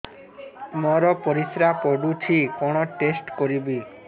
ମୋର ପରିସ୍ରା ପୋଡୁଛି କଣ ଟେଷ୍ଟ କରିବି